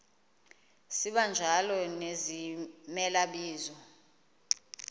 sibanjalo nezimela bizo